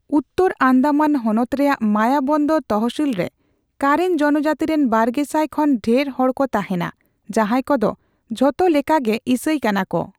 ᱩᱛᱛᱚᱨ ᱚᱸᱰᱢᱟᱱ ᱦᱚᱱᱚᱛ ᱨᱮᱱᱟᱜ ᱢᱟᱭᱟᱵᱚᱱᱫᱚᱨ ᱛᱚᱥᱦᱤᱞ ᱨᱮ ᱠᱟᱨᱮᱱ ᱡᱚᱱᱡᱟᱹᱛᱤ ᱨᱤᱱ ᱵᱟᱨᱜᱮᱥᱟᱭ ᱠᱷᱚᱱ ᱰᱷᱮᱨ ᱦᱚᱲ ᱠᱚ ᱛᱟᱦᱮᱸᱱᱟ, ᱡᱟᱦᱟᱸᱭ ᱠᱚᱫᱚ ᱡᱷᱚᱛᱚ ᱞᱚᱮᱠᱟᱜᱮ ᱤᱥᱟᱹᱭ ᱠᱟᱱᱟ ᱠᱚ ᱾